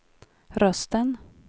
rösten